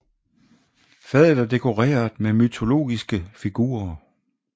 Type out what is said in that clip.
Fadet er dekoreret med mytologiske figurer